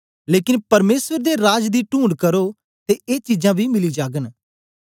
लेकन परमेसर दे राज दी टूणढ करो ते ए चीजां बी मिली जागन